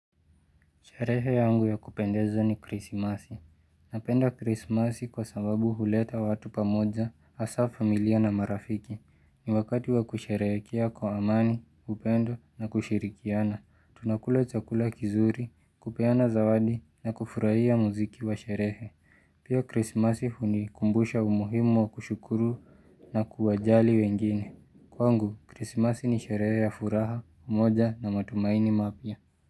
Sherehe yangu ya kupendezo ni krisimasi. Napenda krisimasi kwa sababu huleta watu pamoja, asafamilia na marafiki. Ni wakati wa kusherehekea kwa amani, upendo na kushirikiana. Tunakula chakula kizuri, kupena zawadi na kufurahia muziki wa sharehe. Pia krisimasi huni kumbusha umuhimu wa kushukuru na kuwajali wengine. Kwa ngu, krisimasi ni sharehe ya furaha, umoja na matumaini mapia.